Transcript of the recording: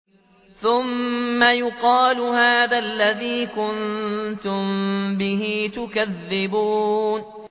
ثُمَّ يُقَالُ هَٰذَا الَّذِي كُنتُم بِهِ تُكَذِّبُونَ